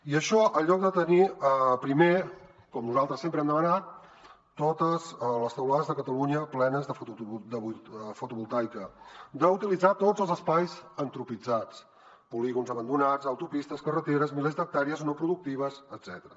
i això en lloc de tenir primer com nosaltres sempre hem demanat totes les teulades de catalunya plenes de fotovoltaica d’utilitzar tots els espais antropitzats polígons abandonats autopistes carreteres milers d’hectàrees no productives etcètera